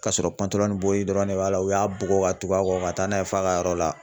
Ka sɔrɔ dɔrɔn de b'a la u y'a bugɔ ka tugu a kɔ ka taa n'a ye f'a ka yɔrɔ la.